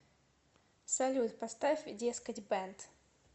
салют поставь дескать бэнд